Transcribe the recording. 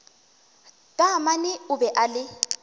taamane o be a le